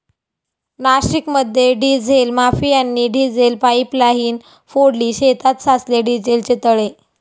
नाशिकमध्ये डिझेल माफियांनी diesel pipeline फोडली, शेतात साचले डिझेलचे तळे